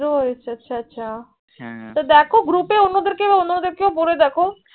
আছা আছা আছা হ্য়াঁ তো দেখ group এ অন্যদের কে অন্য দের কে বলে দেখ